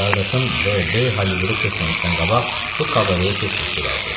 Qardaşım DB Holivuda köçməmişdən qabaq bu kabareyə tez-tez gedərdi.